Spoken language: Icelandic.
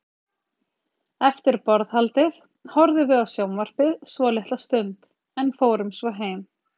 Eftir borðhaldið horfðum við á sjónvarpið svolitla stund, en fórum svo heim.